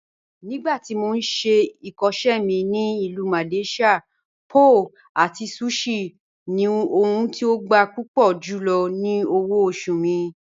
Nígbàtí mó n ṣè ikọṣẹ mi ni Ilù Malaysia, pho àti sushi ni ohùn tí ó gbà púpọ̀ júlọ̀ tí òwò-ọ̀ṣù mi.